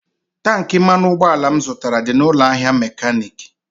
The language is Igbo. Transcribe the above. Tankị mmanụ ụgbọala m zụtara dị n'ụlọ ahịa mekaniiki.